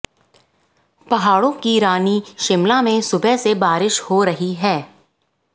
पहाड़ों की रानी शिमला में सुबह से बारिश हो रही है